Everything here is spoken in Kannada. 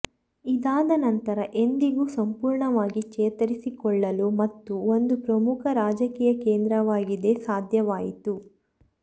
ಇದಾದ ನಂತರ ಎಂದಿಗೂ ಸಂಪೂರ್ಣವಾಗಿ ಚೇತರಿಸಿಕೊಳ್ಳಲು ಮತ್ತು ಒಂದು ಪ್ರಮುಖ ರಾಜಕೀಯ ಕೇಂದ್ರವಾಗಿದೆ ಸಾಧ್ಯವಾಯಿತು